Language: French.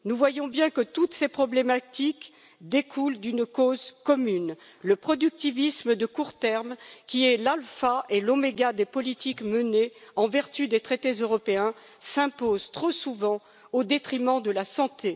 Nous voyons bien que toutes ces problématiques découlent d'une cause commune le productivisme de court terme, qui est l'alpha et l'oméga des politiques menées en vertu des traités européens, s'impose trop souvent au détriment de la santé.